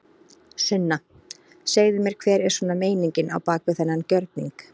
Sunna: Segðu mér hver er svona meiningin á bak við þennan gjörning?